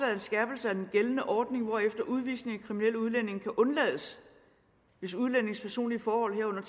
er en skærpelse af den gældende ordning hvorefter udvisning af kriminelle udlændinge kan undlades hvis udlændingens personlige forhold herunder